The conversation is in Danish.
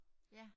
Ja